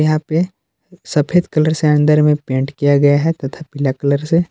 यहां पे सफेद कलर से अंदर में पेंट किया गया है तथा पिला कलर से।